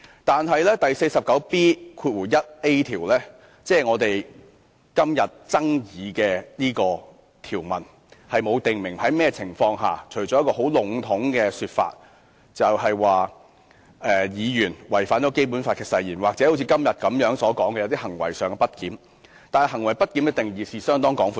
但是第 49B 條，即我們今天爭議的條文，並沒有訂明在甚麼情況下適用，除了很籠統地說當議員違反《基本法》誓言，或如今天所討論般當行為上有些不檢點，但行為不檢的定義是相當廣闊的。